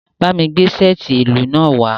Ba mi gbe seeti ilu naa wa!